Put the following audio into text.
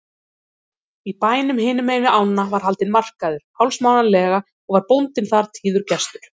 Í bænum hinumegin við ána var haldinn markaður hálfsmánaðarlega og var bóndinn þar tíður gestur.